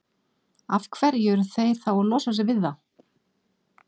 Af hverju eru þeir þá að losa sig við þá?